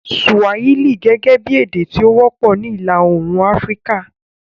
Swahili gẹ́gẹ́ bí èdè tí ó wọ́pọ̀ ní Ìlà Oòrùn Áfíríkà